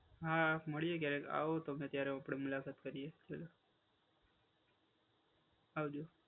હા, મળીએ ક્યારેક. આવો ગમે ત્યારે આપડે મુલાકાત કરીએ. આવજો.